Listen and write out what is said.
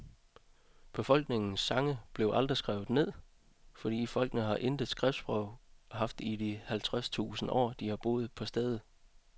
Befolkningens sange blev aldrig skrevet ned, for folkene har intet skriftsprog haft i de halvtredstusind år, de har boet på stedet.